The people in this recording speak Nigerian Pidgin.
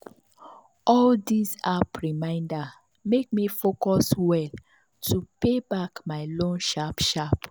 all these app reminder make me focus well to pay back my loan sharp sharp.